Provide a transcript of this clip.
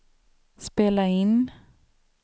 spela in